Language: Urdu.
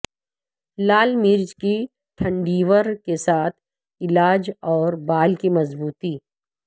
لال مرچ کی ٹھنڈیور کے ساتھ علاج اور بال کی مضبوطی